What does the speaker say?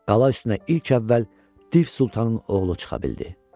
Qala üstünə ilk əvvəl div Sultanın oğlu çıxa bildi.